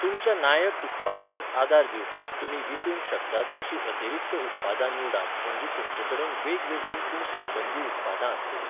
तुमच्या नायक उत्पादांक आदार दिवपाक तुमी विकूंक शकतात अशीं अतिरिक्त उत्पादां निवडात म्हणजे तुमचे कडेन वेगवेगळीं, पूण संबंदीं उत्पादां आसतलीं.